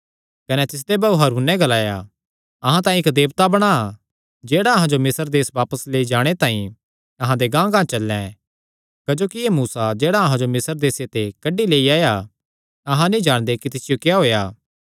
कने तिसदे भाऊ हारूने नैं ग्लाया अहां तांई इक्क देवता बणा जेह्ड़ा अहां जो मिस्र देस बापस लेई जाणे तांई अहां दे गांहगांह चल्लैं क्जोकि एह़ मूसा जेह्ड़ा अहां जो मिस्र देसे ते कड्डी लेई आया अहां नीं जाणदे कि तिसियो क्या होएया